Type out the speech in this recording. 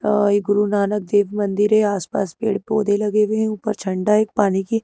अ ये गुरु नानक देव मंदिर है आसपास पेड़ पौधे लगे हुए हैं ऊपर झंडा है एक पानी की--